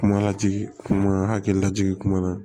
Kuma lajigin kuma hakilila jigin kuma na